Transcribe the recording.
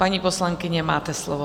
Paní poslankyně, máte slovo.